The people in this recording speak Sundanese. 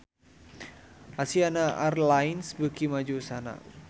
Asiana Airlines beuki maju usahana